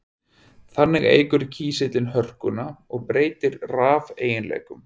Þannig eykur kísillinn hörkuna og breytir rafeiginleikum.